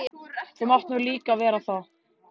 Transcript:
Þú mátt nú líka vera það.